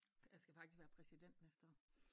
Jeg skal faktisk være præsident næste år